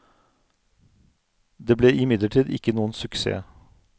Det ble imidlertid ikke noen suksess.